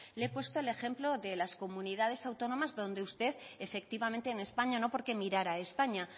le he puesto el ejemplo de las comunidades autónomas donde usted efectivamente en españa no porque mirara a españa